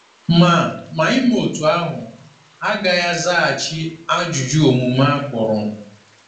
Ma Ma ime otú ahụ agaghị azaghachi ajụjụ omume a kpụrụ.